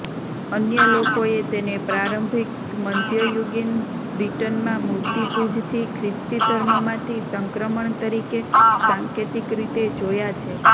અન્ય લોકોએ તેને પ્રારંભિક મધ્યયુગીન બ્રિટનમાં મૂર્તિપૂજથી ખ્રિસ્તી ધર્મમાંથી સંક્રમણ તરીકે સાંકેતિક રીતે જોયા છે